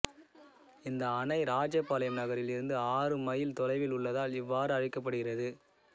இந்த அணை இராஜபாளையம் நகரில் இருந்து ஆறு மைல தொலைவில் உள்ளதால் இவ்வாறு அழைக்கப்படுகிறது